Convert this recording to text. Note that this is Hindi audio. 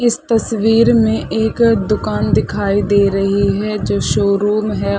इस तस्वीर में एक दुकान दिखाई दे रही है जो शोरुम हैं ।